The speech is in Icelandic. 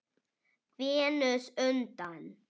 Venus undan